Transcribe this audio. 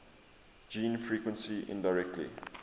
gene frequency indirectly